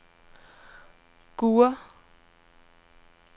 Gurre